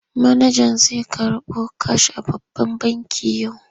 Manajan zai karɓo kash a babban banki yau.